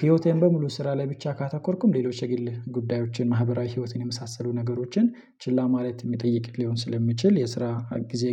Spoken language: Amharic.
ህይወቴን በሙሉ ስራ ላይ ብቻ ካተኮርኩም ሌሎች የግል ጉዳዮችን ማህበራዊ ህይወትን የመሳሰሉ ነገሮችን ችላ ማለት የሚጠይቅልኝ ሊሆን ስለሚችል የስራ ጊዜ